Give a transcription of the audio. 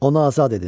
Onu azad edin.